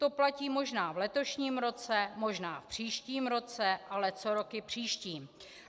To platí možná v letošním roce, možná v příštím roce - ale co roky příští?